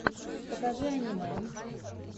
покажи аниме